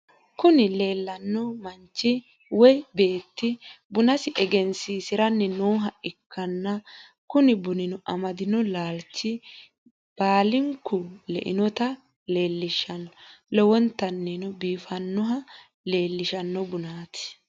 Kunni laneno manchi woy betti bunasi egenisisiranni nooha ikana kuni bunino amadino lalicho balinku leeinota lelishshno. Lowonitanino bifinohana halichishshno Bunatti.